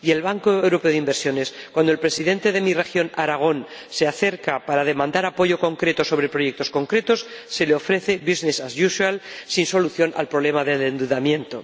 Y el Banco Europeo de Inversiones, cuando el presidente de mi región, Aragón, se acerca para demandar apoyo concreto sobre proyectos concretos, le ofrece business as usual sin solución al problema del endeudamiento.